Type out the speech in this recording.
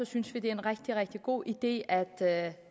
synes vi det er en rigtig rigtig god idé at at